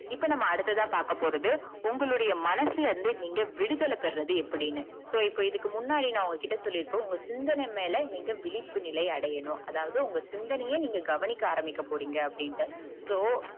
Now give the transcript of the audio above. இப்ப நாம அடுத்ததா பாக்கபோறத உங்களுடைய மனசுல இருந்து நீங்க விடுதல பொருவது எப்படின்னு so இதுக்கு முன்னாடி நா உங்ககிட்ட சொல்லிருப்ப உங்க சிந்தன மேல நீங்க விழிப்புனிலை அடையணும். அதாது, உங்க சிந்தனைய நீங்க கவனிக்க ஆரம்பிக்க போரிங்க அப்டிண்டு so